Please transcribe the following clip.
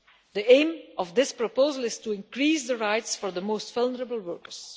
The aim of this proposal is to increase the rights for the most vulnerable workers.